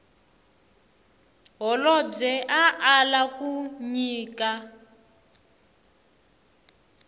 holobye a ala ku nyika